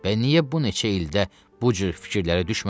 Bə niyə bu neçə ildə bu cür fikirlərə düşməmişəm?